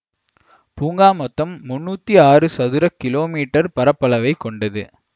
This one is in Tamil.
பூங்கா மொத்தம் முன்னூத்தி ஆறு சதுர கிலோ மீட்டர் பரப்பளவைக் கொண்டது